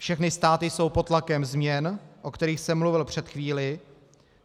Všechny státy jsou pod tlakem změn, o kterých jsem mluvil před chvílí.